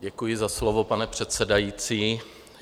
Děkuji za slovo, pane předsedající.